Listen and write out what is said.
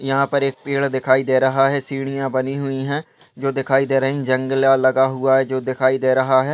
यहा पर एक पेड़ दिखाई दे रहा है सीढीया बनी हुई है जो दिखाई दे रही है जंगला लगा हुआ है जो दिखाई दे रहा है।